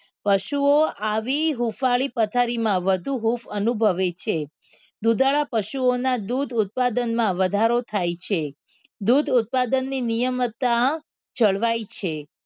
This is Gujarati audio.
પશુઓ આવી હુફળી પથારીમાં વધુ હૂફ અનુભવે છે દુધાળા પશુઓના દૂધ ઉત્પાદનમાં વધારો થાય છે દૂધ ઉત્પાદનની નિયમિતતા જળવાય છે.